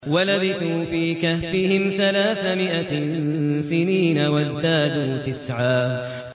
وَلَبِثُوا فِي كَهْفِهِمْ ثَلَاثَ مِائَةٍ سِنِينَ وَازْدَادُوا تِسْعًا